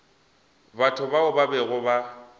batho bao ba bego ba